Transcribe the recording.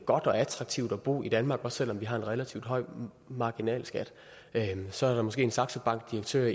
godt og attraktivt at bo i danmark også selv om vi har en relativt høj marginalskat så er der måske en saxo bank direktør